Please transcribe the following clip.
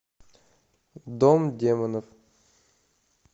дом демонов